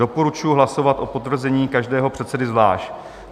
Doporučuji hlasovat o potvrzení každého předsedy zvlášť.